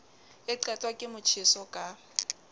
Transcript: e qetwa ke motjheso ka